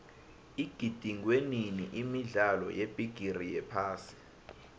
igidingwenini imidlalo yebigiri yephasi